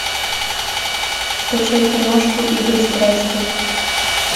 скачай киношку игры страсти